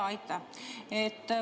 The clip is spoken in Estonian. Jaa, aitäh!